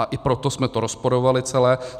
A i proto jsme to rozporovali celé.